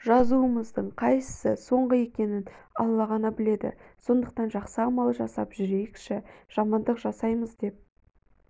жазумыздың қайсысы соңғы екенін алла ғана біледі сондықтан жақсы амал жасап жүрейікші жамандық жасаймыз деп